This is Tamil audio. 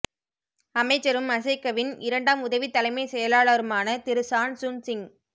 அமைச்சரும் மசெகவின் இரண்டாம் உதவி தலைமைச் செயலாளருமான திரு சான் சுன் சிங்